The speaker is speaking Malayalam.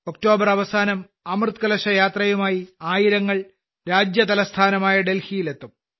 ഒക്ടോബർ അവസാനം അമൃതകലശയാത്രയുമായി ആയിരങ്ങൾ രാജ്യതലസ്ഥാനമായ ഡൽഹിയിലെത്തും